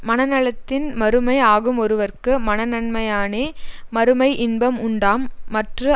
மனநலத்தின் மறுமை ஆகும்ஒருவற்கு மனநன்மையானே மறுமை இன்பம் உண்டாம் மற்று